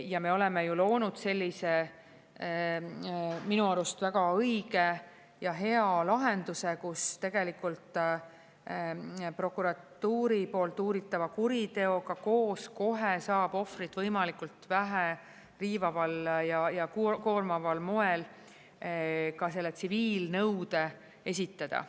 Ja me oleme ju loonud sellise minu arust väga õige ja hea lahenduse, kus tegelikult prokuratuuri poolt uuritava kuriteoga koos kohe saab ohvrit võimalikult vähe riivaval ja koormaval moel ka selle tsiviilnõude esitada.